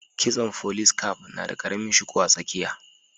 Kitson folice caf na da karamin shuku a tsakiya